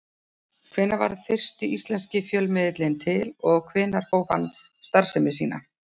Hvenær varð fyrsti íslenski fjölmiðillinn til og hvenær hóf hann starfsemi sína?